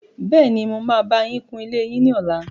Bẹ́ẹ́ni, mo máa bá yín kun ilé yín ní ọlá.